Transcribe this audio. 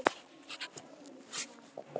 Var þetta víti eða ekki?